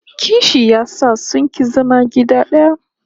Kishi ya sa sun ki zama gida daya